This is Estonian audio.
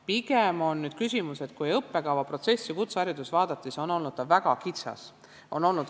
Pigem on küsimus selles, et kui õppekavaprotsessi kutsehariduses vaadata, siis on näha, et need kavad on väga kitsad.